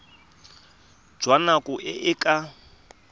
jwa nako e e ka